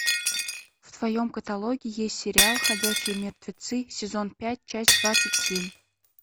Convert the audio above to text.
в твоем каталоге есть сериал ходячие мертвецы сезон пять часть двадцать семь